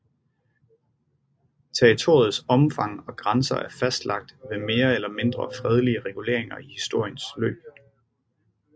Territoriets omfang og grænser er fastlagt ved mere eller mindre fredelige reguleringer i historiens løb